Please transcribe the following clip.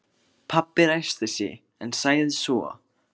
Pabbi ræskti sig en sagði svo